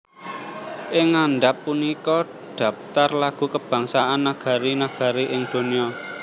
Ing ngandhap punika dhaptar lagu kabangsan negari negari ing donya